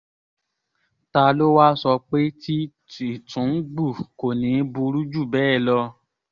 ta ló wáá sọ pé tí tìtúngbù kò ní í burú jù bẹ́ẹ̀ lọ